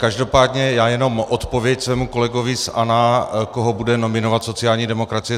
Každopádně já jenom odpověď svému kolegovi z ANO, koho bude nominovat sociální demokracie.